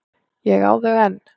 Ég á þau enn.